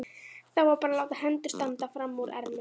Þá var bara að láta hendur standa frammúr ermum.